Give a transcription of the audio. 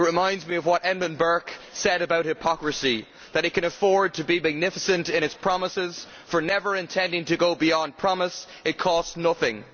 It reminds me of what Edmund Burke said about hypocrisy that it can afford to be magnificent in its promises, for never intending to go beyond promise, it costs nothing'.